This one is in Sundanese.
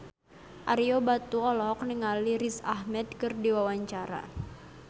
Ario Batu olohok ningali Riz Ahmed keur diwawancara